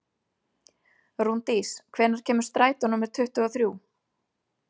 Rúndís, hvenær kemur strætó númer tuttugu og þrjú?